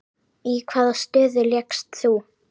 Í hvaða stöðu lékst þú?